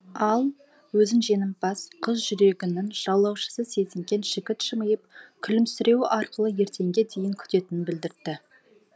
ал өзін жеңімпаз қыз жүрегінің жаулаушысы сезінген жігіт жымиып күлімсіреуі арқылы ертеңге дейін күтетінін білдірді